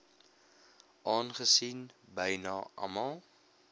aangesien byna almal